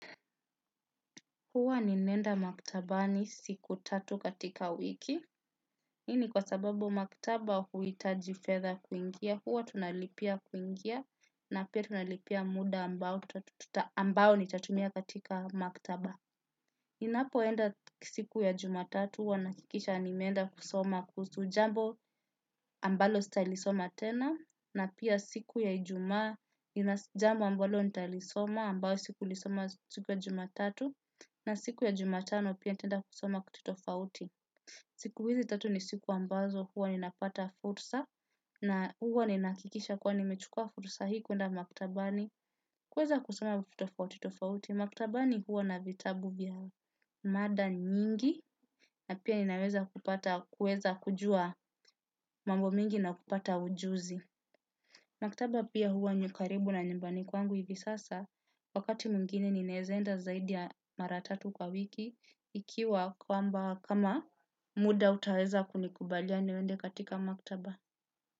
Huwa ninaenda maktabani siku tatu katika wiki. Ini kwa sababu maktaba huitaji fedha kuingia. Huwa tunalipia kuingia na pia tunalipia muda ambao nitatumia katika maktaba. Ninapoenda siku ya jumatatu huwa naakikisha nimeenda kusoma kuhusu jambo ambalo sitalisoma tena na pia siku ya ijumaa ina jambo ambalo nitalisoma ambao sikulisoma siku ya jumatatu. Na siku ya jumatano pia nitaenda kusoma kitu tofauti. Siku hizi tatu ni siku ambazo huwa ninapata fursa na huwa ni naakikisha kuwa nimechukua fursa hii kuenda maktabani. Kuweza kusoma kuti tofauti, maktabani huwa na vitabu vya mada nyingi na pia ninaweza kupata kujua mambo mingi na kupata ujuzi. Maktaba pia huwa ni ya ukaribu na nyumbani kwangu hivi sasa, wakati mwingine ninaezaenda zaidi ya mara tatu kwa wiki, ikiwa kwamba kama muda utaweza kunikubalia niende katika maktaba.